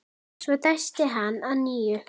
Svo dæsti hann að nýju.